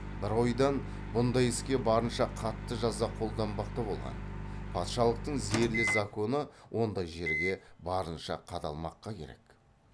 бір ойдан бұндай іске барынша қатты жаза қолданбақ та болған патшалықтың зәрлі законы ондай жерге барынша қадалмаққа керек